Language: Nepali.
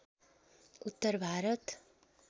उत्तर भारत